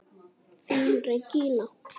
Þín Regína.